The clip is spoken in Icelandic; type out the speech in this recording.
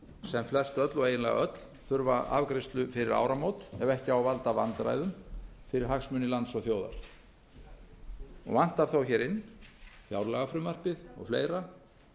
sem flestöll og eiginlega öll þurfa afgreiðslu fyrir áramót ef þá á ekki að valda vandræðum fyrir hagsmuni lands og þjóðar vantar þó inn fjárlagafrumvarpið og fleira